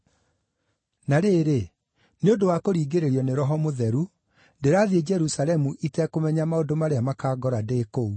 “Na rĩrĩ, nĩ ũndũ wa kũringĩrĩrio nĩ Roho Mũtheru, ndĩrathiĩ Jerusalemu itekũmenya maũndũ marĩa makaangora ndĩ kũu.